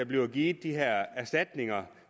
bliver givet de her erstatninger